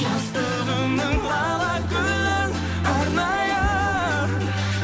жастығымның лала гүлін арнайын